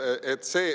" Niimoodi ...